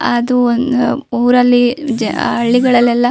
ಅದು ಒಂದು ಊರಲ್ಲಿ ಜ ಹಳ್ಳಿಗಳಲ್ಲೆಲ್ಲ --